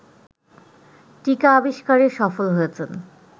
টীকা আবিস্কারে সফল হয়েছেন